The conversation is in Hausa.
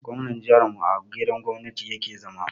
Gwamnan jihar mu a gidan gwamnati ya ke zama